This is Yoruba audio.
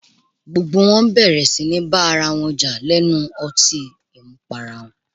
Gbogbo wọn bẹ̀rẹ̀ síní bá ara wọn jà lẹ́nu ọtín àmupara